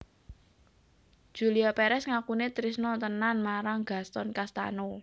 Julia Perez ngakune trisno tenan marang Gaston Castano